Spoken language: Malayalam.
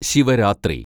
ശിവരാത്രി